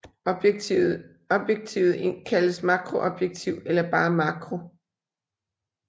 Objektivet kaldes makroobjektiv eller bare makro